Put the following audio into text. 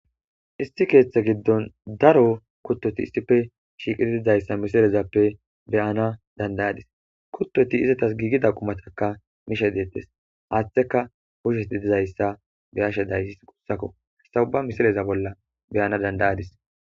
Issi keethttha giddon daro issippe shiqqidi diza kutoti dizayssa misilezappe bayanna dandayadis kuttozi izetas gigida qumata mishshe dettes izetikka mulera dizayssa beayssi tophphiya misileza bolla beyadis